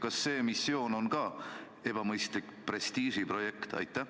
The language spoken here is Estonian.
Kas see missioon on ka ebamõistlik prestiižiprojekt?